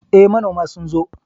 Eh, manoma sun zo